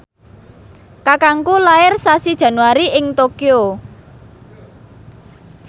kakangku lair sasi Januari ing Tokyo